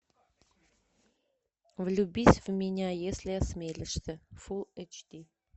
влюбись в меня если осмелишься фул эйч ди